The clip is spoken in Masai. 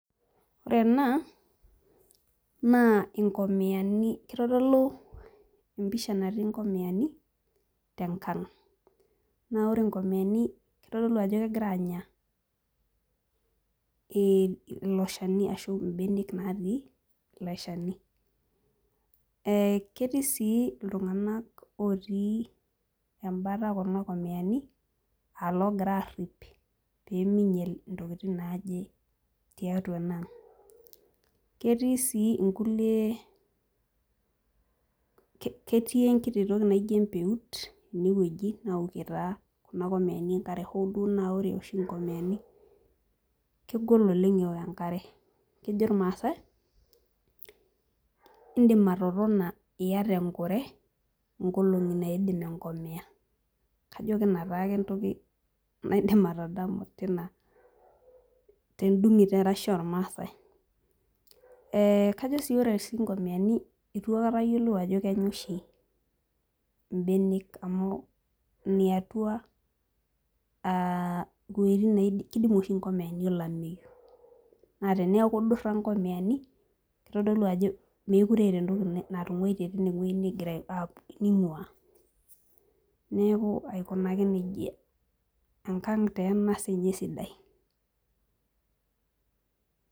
Ore ena naa inkomiyani kitodolu empisha natii inkomiyani tenkang naa ore inkomiyani naa kitodolu ajo kegira anya eh ilo shani ashu imbenek natii ilo shani eh ketii sii iltung'anak otii embata kuna komiyani alogira arrip peminyiel intokiting naaje tiatua ena ang ketii sii inkulie, ketii enkiti toki naijio empeut enewueji naokie taa kuna komiyani enkare hooduo naa ore oshi inkomiyani kegol oleng ewok enkare kejo irmasae indim atotona iyata enkure nkolong'i naidim enkomiya kajo kina taake entoki naidim atadamu tina tendung'et erashe ormasae eh kajo sii ore sii inkomiyani itu aikata ayiolou ajo kenya oshi imbenek amu iniatua uh iwuejitin neid keidimu oshi inkomiyani olameyu naa teniaku idurra inkomiyani kitodolu ajo mekure eeta entoki natung'uaitie tinewueji negira ap ning'ua neku aikunaki nejia enkang taa ena sinye sidai.